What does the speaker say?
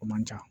O man ca